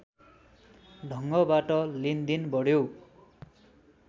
ढङ्गबाट लेनदेन बढ्यो